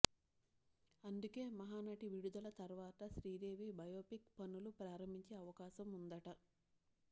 అందుకే మహానటి విడుదల తర్వాత శ్రీదేవి బయోపిక్ పనులు ప్రారంభించే అవకాశం ఉందట